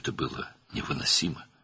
Bütün bunlar dözülməz idi.